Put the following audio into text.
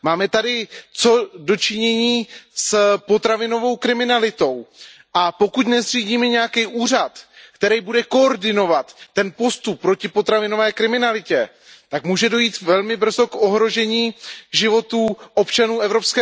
Máme tady co do činění s potravinovou kriminalitou, a pokud nezřídíme nějaký úřad, který bude koordinovat ten postup proti potravinové kriminalitě, tak může dojít velmi brzo k ohrožení životů občanů EU.